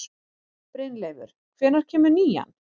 Brynleifur, hvenær kemur nían?